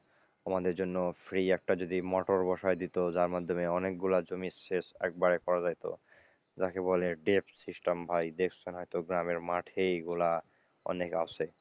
আমাদের জন্য free একটা যদি মটর বসিয়ে দিত, যার মাধ্যমে অনেকগুলো জমির সেচ একবারে করা যাইত, যাকে বলে depth system ভাই, deep sun হয়তো গ্রামের মাঠেই এগুলো অনেক আছে।